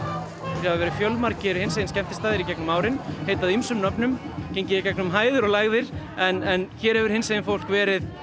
hér hafa verið fjölmargir hinsegin skemmtistaðir í gegnum árin heitið ýmsum nöfnum og gengið í gegnum hæðir og lægðir en hér hefur hinsegin fólk verið